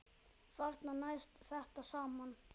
Þarna næst þetta saman.